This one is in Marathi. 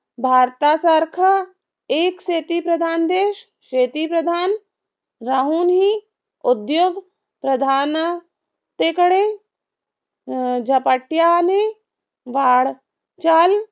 भारतासारखा एक शेतीप्रधान देश, शेतीप्रधान राहूनही उद्योग प्रधाना तेकडे झपाट्याने वाढचाल